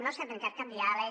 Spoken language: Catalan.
no s’ha trencat cap diàleg